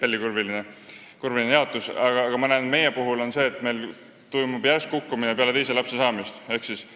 Aga meie puhul ma näen seda, et meil toimub peale teise lapse saamist järsk kukkumine.